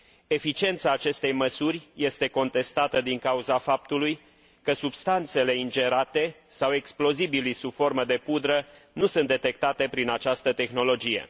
Eficiența acestei măsuri este contestată din cauza faptului că substanțele ingerate sau explozibilii sub formă de pudră nu sunt detectate prin această tehnologie.